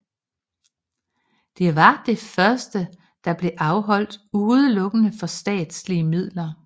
Det var det første der blev afholdt udelukkende for statslige midler